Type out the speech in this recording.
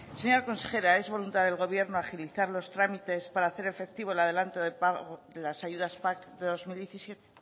señora consejera es voluntad del gobierno agilizar los trámites para hacer efectivo el adelanto de pago de las ayudas pac de bi mila hamazazpi